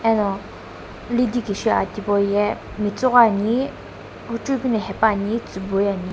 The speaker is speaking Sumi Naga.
ano lidikisho aki hipou ye matsoghoi ne hujeu keu no hapaene --